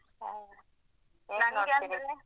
ಹ ಏನ್ ನೋಡ್ತಿರಿ?